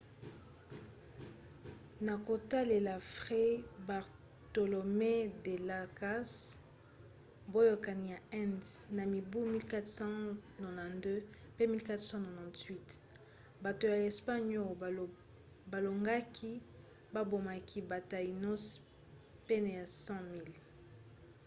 na kotalela fray bartolomé de las casas boyokani ya inde na mibu 1492 pe 1498 bato ya espagne oyo balongaki babomaki ba taínos pene ya 100 000